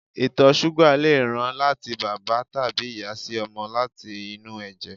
ìtọ̀ súgà lè ràn láti bàbá tàbí ìyá sí ọmọ láti inú ẹ̀jẹ̀